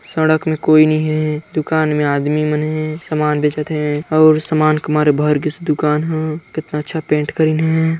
सड़क में कोई नई हे दुकान में आदमी मन हे सामान बेचत हे अउर सामान के मारे भर गिस हे दुकान ह कितना अच्छा पेंट करिन हे।